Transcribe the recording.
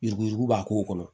Yuruku yuruku b'a k'o kɔnɔ